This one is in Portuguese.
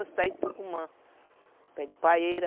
Os pés de tucumã, os pés de paeira.